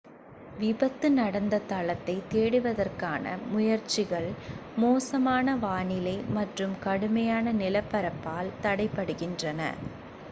விபத்து நடந்த தளத்தைத் தேடுவதற்கான முயற்சிகள் மோசமான வானிலை மற்றும் கடுமையான நிலப்பரப்பால் தடைபடுகின்றன